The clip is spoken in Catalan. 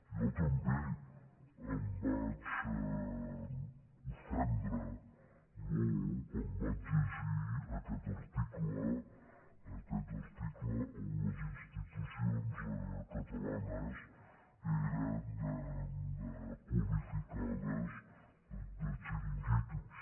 jo també em vaig ofendre molt quan vaig llegir aquest article on les institucions catalanes eren qualificades de xiringuitos